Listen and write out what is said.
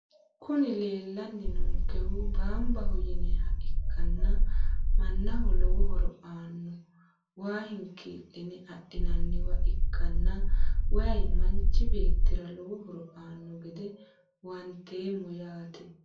Kuni leelani noonkehu baanbaho yinayiha ikkana manaho lowo horo aano waa hinkiiline adhinaniwa ikkana wayi manichi beetira lowo horo aano gede huwanteemo yaate.